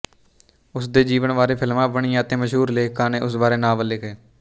ਉਸ ਦੇ ਜੀਵਨ ਬਾਰੇ ਫਿਲਮਾਂ ਬਣੀਆਂ ਅਤੇ ਮਸ਼ਹੂਰ ਲੇਖਕਾਂ ਨੇ ਉਸ ਬਾਰੇ ਨਾਵਲ ਲਿਖੇ